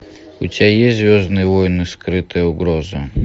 у тебя есть звездные войны скрытая угроза